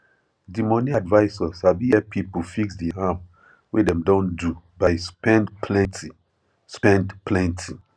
di money advisor sabi help people fix di harm wey dem don do by spend plenty spend plenty